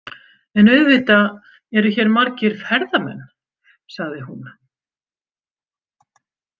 En auðvitað eru hér margir ferðamenn, sagði hún.